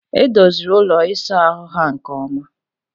Edoziri ụlọ isa ahụ ha nke oma